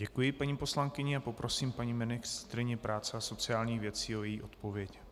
Děkuji paní poslankyni a poprosím paní ministryni práce a sociálních věcí o její odpověď.